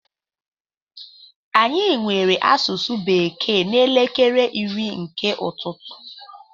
Anyị nwere asụsụ bekee n'elekere iri nke ụtụtụ.